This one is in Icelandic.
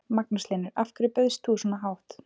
Magnús Hlynur: Af hverju bauðst þú svona hátt?